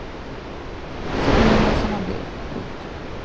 Så blev man som man blev. punkt